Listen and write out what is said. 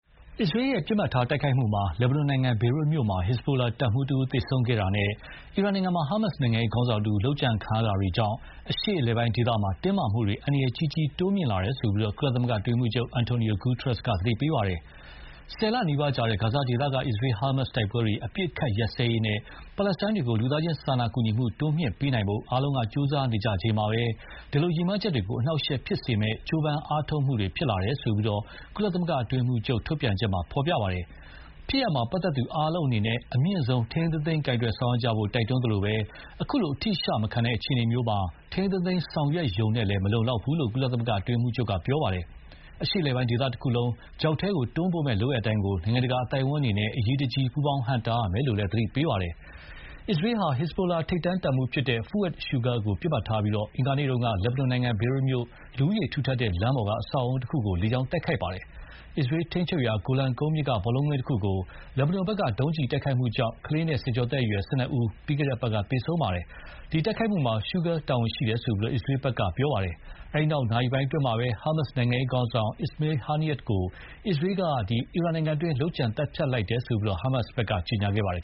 အစ္စရေးရဲ့ပစ်မှတ်ထားတိုက်ခိုက်မှုအတွင်း လက်ဘနွန်နိုင်ငံ ဘေရွက်မြို့မှာ ဟက်ဇ်ဘိုတပ်မှူးတဦးသေဆုံးခဲ့တာနဲ့ အီရန်မှာ ဟာမတ်စ်နိုင်ငံရေးခေါင်းဆောင်တဦး လုပ်ကြံခံရတာတွေကြောင့် အရှေ့အလယ်ပိုင်းဒေသမှာ တင်းမာမှုတွေ အန္တရာယ်ကြီးကြီး တိုးမြင့်လာတယ်လို့ ကုလသမဂ္ဂအတွင်းရေးမှူးချုပ် Antonio Guterres က သတိပေးလိုက်ပါတယ်။ ၁၀ လနီးပါးကြာ ဂါဇာဒေသက အစ္စရေး-ဟာမတ်စ်တိုက်ပွဲတွေ အပစ်အခတ်ရပ်စဲရေးနဲ့ ပါလက်စတိုင်းတွေကို လူသားချင်းစာနာကူညီမှု တိုးမြှင့်ပေးနိုင်ဖို့ အားလုံးက ကြိုးစားနေကြချိန်မှာပဲ ဒီ ရည်မှန်းချက်တွေကို အနှောင့်အယှက်ဖြစ်စေမယ့် ကြိုးပမ်းအားထုတ်မှုတွေ ဖြစ်လာရတယ်လို့ ကုလသမဂ္ဂအတွင်းရေးမှူးချုပ်ရဲ့ ထုတ်ပြန်ချက်မှာ ဖော်ပြပါတယ်။ ဖြစ်ရပ်မှာ ပတ်သက်သူအားလုံးအနေနဲ့ အမြင့်ဆုံး ထိန်းထိန်းသိမ်းသိမ်းဆောင်ရွက်ကြဖို့ တိုက်တွန်းသလိုပဲ အခုလို အထိအရှမခံတဲ့အခြေအနေမှာ ထိန်းထိန်းသိမ်းသိမ်းဆောင်ရွက်ရုံနဲ့လည်း မလုံလောက်ဘူးလို့ ကုလ အတွင်းရေးမှူးချုပ်က ပြောပါတယ်။ အရှေ့အလယ်ပိုင်းဒေသတခုလုံး ချောက်ထဲတွန်းပို့မယ့်လုပ်ရပ်တိုင်းကို နိုင်ငံတကာအသိုက်အဝန်းအနေနဲ့ အရေးတကြီး ပူးပေါင်းဟန့်တားရမယ်လို့လည်း သတိပေးပါတယ်။ အစ္စရေးဟာ ဟက်ဇ်ဘိုလာ ထိပ်တန်းတပ်မှူး Fouad Shukur ကိုပစ်မှတ်ထားပြီး အင်္ဂါနေ့က လက်ဘနွန်နိုင်ငံ ဘေရွတ်မြို့ လူဦးရေထူထပ်တဲ့လမ်းပေါက် အဆောက်အဦးတခုကို လေကြောင်းတိုက်ခိုက်ခဲ့ပါတယ်။ အစ္စရေးထိန်းချုပ်ရာ ဂိုလန်ကုန်းမြင့်က ဘောလုံးကွင်းတခုကို လက်ဘနွန်ဘက်က ဒုံးကျည်နဲ့တိုက်ခိုက်ခဲ့တာကြောင့် ကလေးနဲ့ ဆယ်ကျော်သက်အရွယ် ၁၂ ဦး ပြီးခဲ့တဲ့အပတ်က သေဆုံးခဲ့ပါတယ်။ ဒီတိုက်ခိုက်မှုမှာ Shukur တာဝန်ရှိတယ်လို့ အစ္စရေးဘက်က ပြောပါတယ်။ အဲဒီနောက် နာရီပိုင်းအတွင်းမှာပဲ ဟာမတ်စ် နိုင်ငံရေးခေါင်းဆောင် Ismail Haniyeh ကို အစ္စရေးက အီရန်နိုင်ငံအတွင်းမှာ လုပ်ကြံသတ်ဖြတ်လိုက်တယ်လို့ ဟာမတ်စ်ကကြေညာပါတယ်